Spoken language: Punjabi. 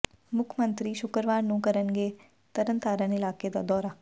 ਮੁੱਖ ਮੰਤਰੀ ਸ਼ੁਕਰਵਾਰ ਨੂੰ ਕਰਨਗੇ ਤਰਨਤਾਰਨ ਇਲਾਕੇ ਦਾ ਦੌਰਾ